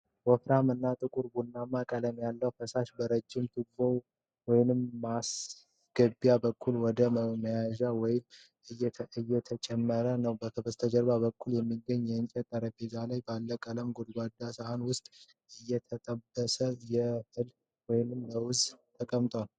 ወፍራም እና ጥቁር ቡናማ ቀለም ያለው ፈሳሽ በረጅም ቱቦ ወይም ማስገቢያ በኩል ወደ መያዣው ውስጥ እየተጨመረ ነው። ከበስተጀርባ በኩል በሚገኘው የእንጨት ጠረጴዛ ላይ ባለው ቀይ ጎድጓዳ ሳህን ውስጥ የተጠበሰ እህል ወይም ለውዝ ተቀምጧል።